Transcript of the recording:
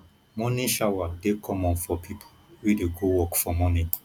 morning shower dey common for pipo wey dey go work for morning